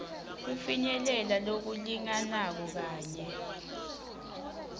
kufinyelela lokulinganako kanye